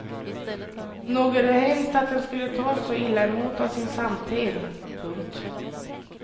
Nog är det hemskt att den skulle tas så illa emot av sin samtid. punkt